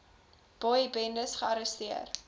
boy bendes gearresteer